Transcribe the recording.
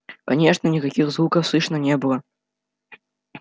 конечно никаких звуков слышно не было